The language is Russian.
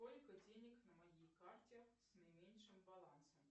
сколько денег на моей карте с наименьшим балансом